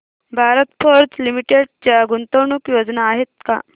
Bharat Forge Limited च्या गुंतवणूक योजना आहेत का